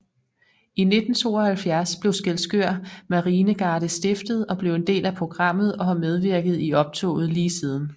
I 1972 blev Skælskør Marinegarde stiftet og blev en del af programmet og har medvirket i optoget lige siden